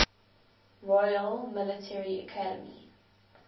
royal military academy